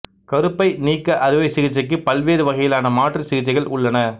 கருப்பை நீக்க அறுவை சிகிச்சைக்கு பல்வேறு வகையிலான மாற்று சிகிச்சைகள் உள்ளன